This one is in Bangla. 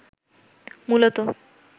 মূলত